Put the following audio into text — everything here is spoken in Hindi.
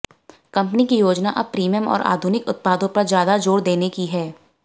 कंपनी की योजना अब प्रीमियम और आधुनिक उत्पादों पर ज्यादा जोर देने की है